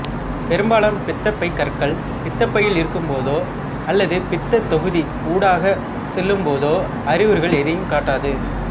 பெரும்பாலான பித்தப்பைகற்கள் பித்தப்பையில் இருக்கும் போதோ அல்லது பித்தத் தொகுதி ஊடாக செல்லும் போதோ அறிகுறிகள் எதையும் காட்டாது